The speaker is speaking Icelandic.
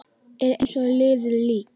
Er eins og liðið lík.